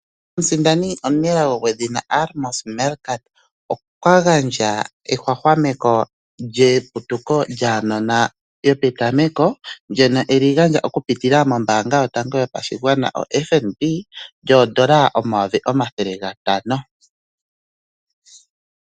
Omusindani gwedhina Amos Meerkat okwagandja ehwahwameko lyeputuko lyaanona lyopetameko, ndjono eli gandja okupitila mombaanga yotango yopashigwana FNB, lyoondola omayovi omathele gatano.